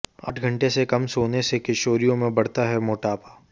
आठ घंटे से कम सोने से किशोरियों में बढ़ता है मोटापा